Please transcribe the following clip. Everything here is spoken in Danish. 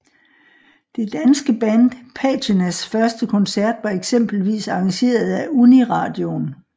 Det danske band Patinas første koncert var eksempelvis arrangeret af Uniradioen